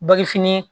Bagifini